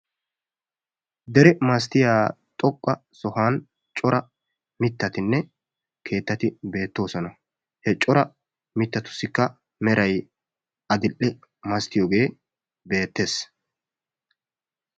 dere masatiya xoqqa sohuwan mitatti beetoosona. he mitatussika meray adil'e. woni doozati baynnaakko asay wannana dii! taan doozata qopiyoode tassi qoppete qopete adhdhena qassi doozata tokkidi dichchidi naagiyooge qassi daro go''a immees.